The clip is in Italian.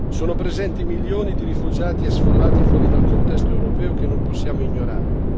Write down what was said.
Sono presenti milioni di rifugiati e sfollati fuori dal contesto europeo che non possiamo ignorare.